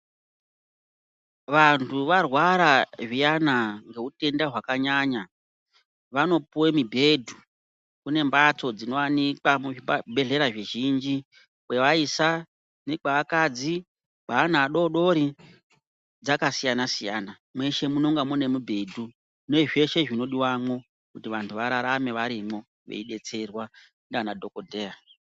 Vantu varwara zviyana ngeutenda hwakanyanya vanopuve mibhedhu. Kune mbatso dzinovanikwa muzvibhedhlera zvizhinji kwevaisa nekweakadzi kweana adodori dzakasiyana-siyana, mweshe munonga mune mudhedhu nezveshe zvinodivamwo. Kuti vantu vararame varimwo veibetserwa ndiana dhogodheya.